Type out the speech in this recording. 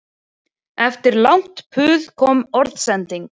Eftir langt puð kom orðsending